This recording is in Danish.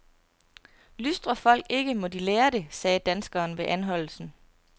Lystrer folk ikke, må de lære det, sagde danskeren ved anholdelsen.